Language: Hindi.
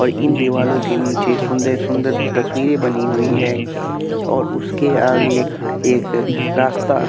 और इन दीवालो के नीचे सुंदर सुंदर तस्वीरे बनी हुई है और उसके आगे एक रास्ता--